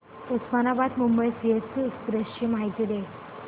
Osmanabad Mumbai CST express ची माहिती दे